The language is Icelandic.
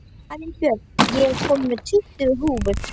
Arinbjörg, ég kom með tuttugu húfur!